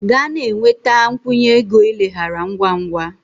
Gaa na-enweta a nkwụnye ego ileghara ngwa ngwa!